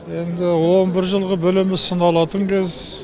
енді он бір жылғы білімі сыналатын кез